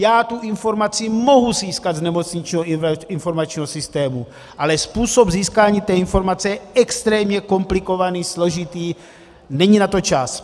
Já tu informaci mohu získat z nemocničního informačního systému, ale způsob získání té informace je extrémně komplikovaný, složitý, není na to čas.